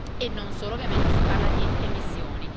e non solo, ovviamente si parla anche di emissioni.